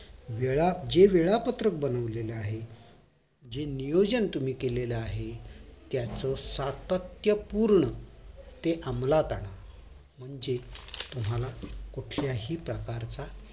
वेळा जे वेळापत्रक बनवलेले आहे जे नियोजन तुम्ही केलेलं आहे त्याच सत्यात पूर्ण ते अमलात आणा म्हणजे तुम्हाला कुठल्याही प्रकारचा